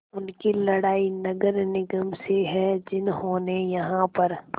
उनकी लड़ाई नगर निगम से है जिन्होंने यहाँ पर